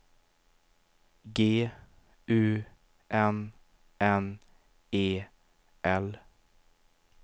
G U N N E L